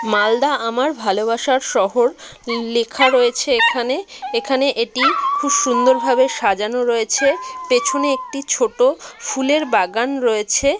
মালদা আমার ভালোবাসার শহর লে-খা রয়েছে এখানে এখানে এটি খুব সুন্দর ভাবে সাজানো রয়েছে পেছনে একটি ছোট ফুলের বাগান রয়েছে।